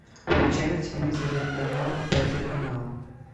включай на телевизоре канал пятый канал